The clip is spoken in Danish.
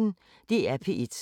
DR P1